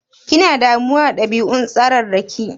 Kina damuwa da ɗabi'un tsararraki?